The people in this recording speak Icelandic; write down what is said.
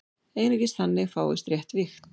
Einungis þannig fáist rétt vigt.